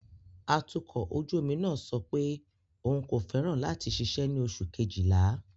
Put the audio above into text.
Atukọ̀ ojú omi náà sọ pé òun kò fẹ́ràn láti ṣiṣẹ́ ní oṣù Kejìlá.